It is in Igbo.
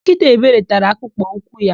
Nkịta Ebere tara akpụkpọ ụkwụ ya.